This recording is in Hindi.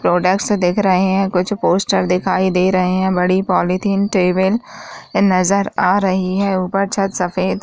प्रोडक्ट्स दिख रहे हैं कुछ पोस्टर दिखाई दे रहे हैं बड़ी पॉलीथीन टेबुल ए नजर आ रही है ऊपर छत सफ़ेद --